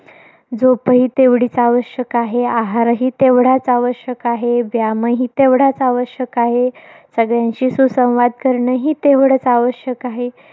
झोपही तेवढीच आवश्यक आहे. आहारही तेवढाच आवश्यक आहे. व्यायामही तेवढाच आवश्यक आहे. सगळ्यांशी सुसंवाद करणंही तेवढच आवश्यक आहे.